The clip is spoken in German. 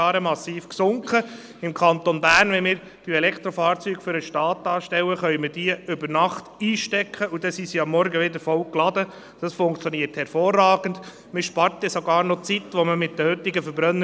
Zum Beispiel die Gewinnung von Lithium in Chile, die einen sehr hohen Energiebedarf hat und dort die Umwelt zerstört.